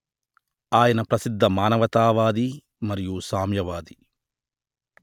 ఆయన ప్రసిద్ధ మానవతా వాది మరియు సామ్యవాది